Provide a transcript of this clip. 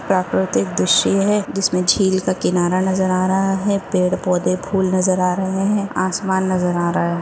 प्राकृतिक दृश्य है जिसमे झील का किनारा नजर आ रहा है पेड़ पौधे फूल नजर आ रहे हैं आसमान नजर आ रहा हैं।